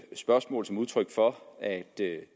spørgsmål som udtryk for at det